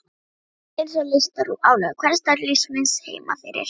Við vorum einsog leystar úr álögum hversdagslífsins heimafyrir